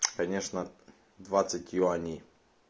конечно двадцать юаней